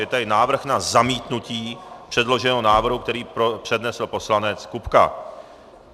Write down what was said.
Je tady návrh na zamítnutí předloženého návrhu, který přednesl poslanec Kupka.